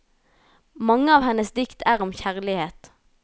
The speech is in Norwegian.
Mange av hennes dikt er om kjærlighet.